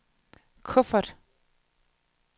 kuffert